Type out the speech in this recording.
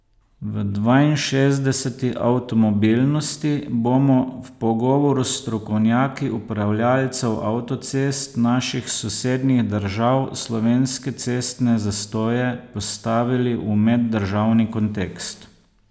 V dvainšestdeseti Avtomobilnosti bomo v pogovoru s strokovnjaki upravljalcev avtocest naših sosednjih držav slovenske cestne zastoje postavili v meddržavni kontekst.